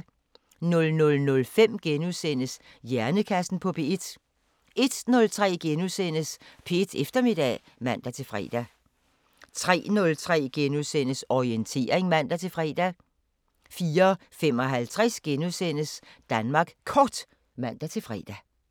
00:05: Hjernekassen på P1 * 01:03: P1 Eftermiddag *(man-fre) 03:03: Orientering *(man-fre) 04:55: Danmark Kort *(man-fre)